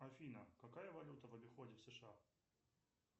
афина какая валюта в обиходе в сша